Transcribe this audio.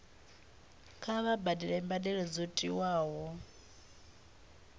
kha vha badele mbadelo dzo tiwaho